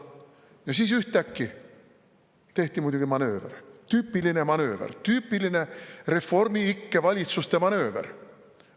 Ja siis ühtäkki tehti muidugi manööver – tüüpiline manööver, tüüpiline reformiikke valitsuste manööver.